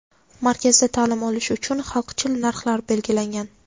Markazda ta’lim olish uchun xalqchil narxlar belgilangan.